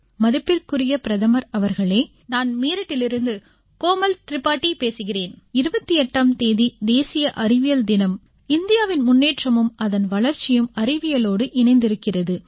மதிப்பிற்குரிய பிரதமர் அவர்களே நான் மீரட்டிலிருந்து கோமல் திரிபாதி பேசுகிறேன் 28ஆம் தேதி தேசிய அறிவியல் தினம் இந்தியாவின் முன்னேற்றமும் அதன் வளர்ச்சியும் அறிவியலோடு இணைந்திருக்கிறது